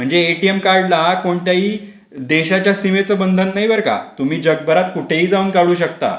म्हणजे एटीएम कार्डला कोणत्याही देशाच्या सीमेच्या बंधन नाही बर का! तुम्ही जगभरात कुठेही जाऊन काढू शकता.